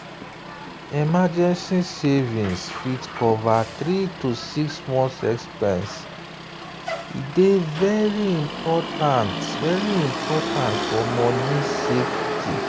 emergency savings wey fit cover 3 to 6 months expense dey very important for money safety.